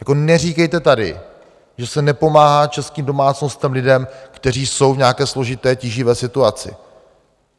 Tak neříkejte tady, že se nepomáhá českým domácnostem, lidem, kteří jsou v nějaké složité tíživé situaci.